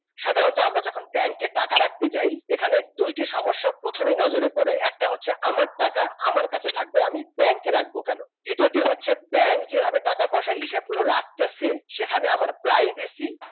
সাধারণত আমরা যখন ব্যাংকে টাকা রাখতে যাই এখানে দুইটি সমস্যা প্রথমেই নজরে পড়ে একটা হচ্ছে আমার টাকা আমার কাছে থাকবে আমি ব্যাংকে রাখবো কেন দ্বিতীয়ত হচ্ছে ব্যাংক যেভাবে টাকা পয়সার হিসাব গুলো রাখতেছে সেখানে আমার privacy